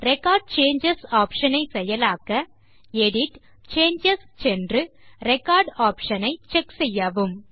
record changes option ஐ செயலாக்க edit → changes சென்று ரெக்கார்ட் ஆப்ஷன் ஐ checkசெய்யவும்